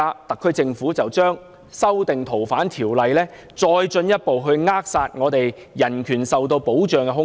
特區政府現在修訂《條例》，是再進一步扼殺我們的人權受到保障的空間。